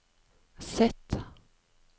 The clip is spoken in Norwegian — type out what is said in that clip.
Z